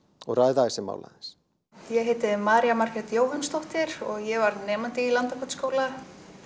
og ræða þessi mál aðeins ég heiti María Margrét Jóhannsdóttir og ég var nemandi í Landakotsskóla